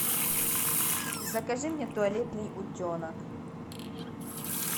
закажи мне туалетный утенок